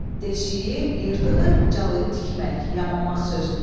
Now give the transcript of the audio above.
Deşiyi, yırtığı calayıb tikmək, yamamaq sözündəndir.